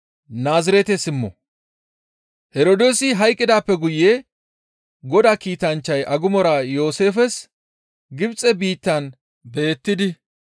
Herdoosi hayqqidaappe guye Godaa kiitanchchay agumora Yooseefes Gibxe biittan beettidi,